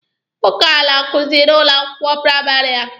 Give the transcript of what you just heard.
Nwoke a na-akuzi n'ụlọ akwụkwọ praịmarị a.